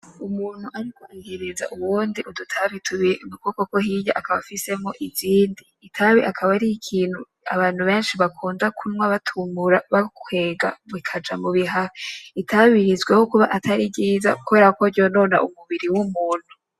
Umuntu ariko ahereza uwundi udutabi tubiri ukuboko kwo hirya akaba afisemwo izindi, itabi ikaba ari ikintu abantu benshi bakunda kunywa batumura bakwega bikaja mubihaha itabi rizwi nko kuba atari ryiza kubera ko ryonona umubiri w'umuntu.